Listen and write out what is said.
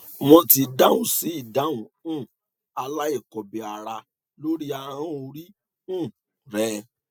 wọn ti dáhùn sí ìdáhùn um aláìkọbìára lórí ahọn orí um rẹ